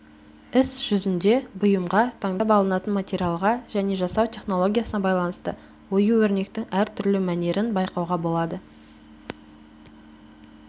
іс жүзінде бұйымға таңдап алынатын материалға және жасау технологиясына байланысты ою-өрнектің әртүрлі мәнерін байқауға болады